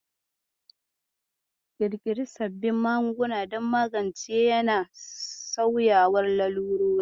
Ƙirƙiri sababbin magunguna don magance yana sauyawar lalurori.